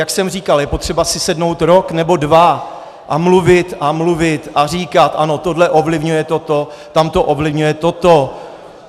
Jak jsem říkal, je potřeba si sednout rok nebo dva a mluvit a mluvit a říkat ano, tohle ovlivňuje toto, tamto ovlivňuje toto.